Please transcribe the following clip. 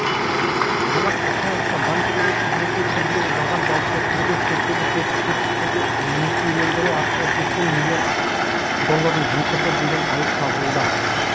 жомарт ертаевқа банктегі қызметі кезінде жалған жауапкершілігі шектеулі серіктестіктерді несиелендіру арқылы сексен миллион ақш долларын жымқырды деген айып тағылуда